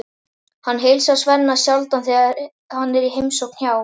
Hann heilsar Svenna sjaldan þegar hann er í heimsókn hjá